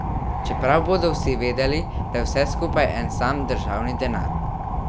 Čeprav bodo vsi vedeli, da je vse skupaj en sam državni denar.